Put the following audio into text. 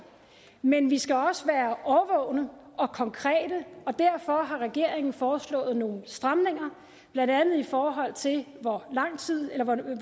men vi skal også være årvågne og konkrete og derfor har regeringen foreslået nogle stramninger blandt andet i forhold til hvor lang tid man i